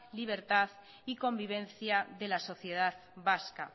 libertad y convivencia de la sociedad vasca